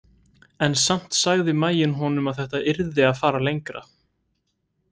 En samt sagði maginn honum að þetta yrði að fara lengra.